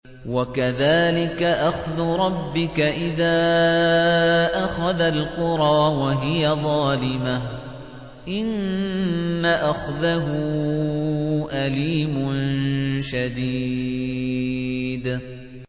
وَكَذَٰلِكَ أَخْذُ رَبِّكَ إِذَا أَخَذَ الْقُرَىٰ وَهِيَ ظَالِمَةٌ ۚ إِنَّ أَخْذَهُ أَلِيمٌ شَدِيدٌ